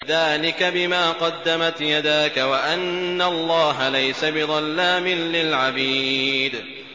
ذَٰلِكَ بِمَا قَدَّمَتْ يَدَاكَ وَأَنَّ اللَّهَ لَيْسَ بِظَلَّامٍ لِّلْعَبِيدِ